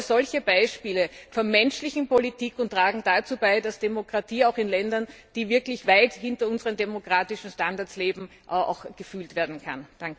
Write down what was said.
Solche Beispiele von menschlicher Politik tragen dazu bei, dass Demokratie auch in Ländern, die wirklich weit hinter unseren demokratischen Standards leben, gefühlt werden kann.